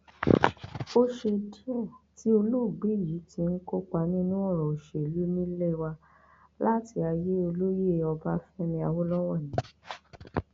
ó ṣe díẹ tí olóògbé yìí ti ń kópa nínú ọrọ òṣèlú nílé wa láti ayé olóyè ọbáfẹmi awolowo ni